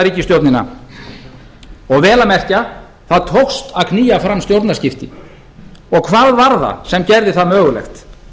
ríkisstjórnina vel að merkja það tókst að knýja fram stjórnarskipti hvað var það sem gerði það mögulegt